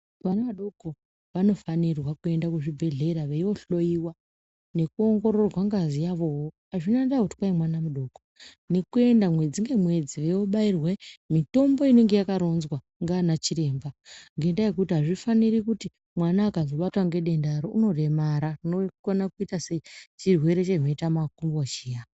Vana vadoko vanofanira kuenda kuzvibhehlera veindohloiwa nekuongororwa ngazi yavowo hazvina ndaa kuti mwana mudoko nekuenda mwedzi nemwedzi veibairwa mitombo inenge yakaronzwa nana chiremba nenyaya yekuti hazvifaniri kuti mwana akazobatwa nedenda ro anoremara zvinokona kuita sechirwere cheneta makumbo chiya.